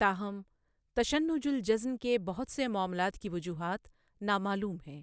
تاہم، تشنّج الجضن کے بہت سے معاملات کی وجوہات نامعلوم ہیں۔